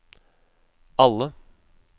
alle